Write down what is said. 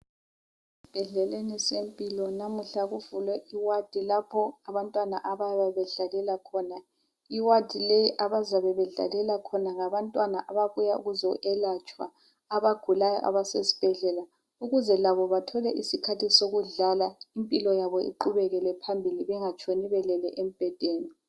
esibhedleleni sempilo namuhla kuvulwe i ward lapho abantwana abayabe i ward leyi abazabe bedlalela khona ngabantwana abayabe bebuye ukuzoyelatshwa abagulayo abasesibhedlela ukuze labo bathole isikhathi sokudlala impilo yabo iqhubekel phambili bengatshoni belele embhedeni